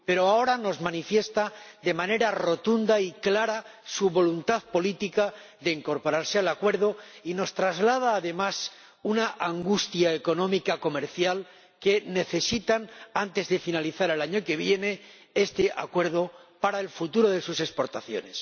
Pero ahora nos manifiesta, de manera rotunda y clara, su voluntad política de incorporarse al Acuerdo y nos traslada además una angustia económica comercial, porque necesita, antes de finalizar el año que viene, este Acuerdo para el futuro de sus exportaciones.